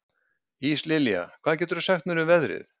Íslilja, hvað geturðu sagt mér um veðrið?